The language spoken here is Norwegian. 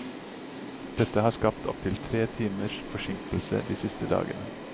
Dette har skapt opptil tre timers forsinkelser de siste dagene.